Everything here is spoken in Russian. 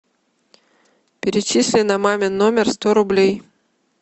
перечисли на мамин номер сто рублей